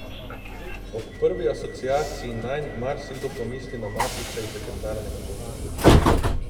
Ob prvi asociaciji nanj marsikdo pomisli na mafijca iz legendarnega Botra.